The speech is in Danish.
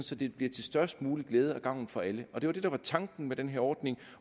så det bliver til størst mulig glæde og gavn for alle det var det der var tanken med den her ordning